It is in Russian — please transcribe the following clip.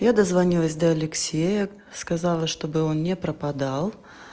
я дозвонилась до алексея сказала чтобы он не пропадал